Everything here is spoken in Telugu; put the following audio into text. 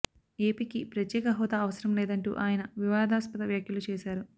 ఏపీకి ప్రత్యేక హోదా అవసరం లేదంటూ ఆయన వివాదాస్పద వ్యాఖ్యలు చేశారు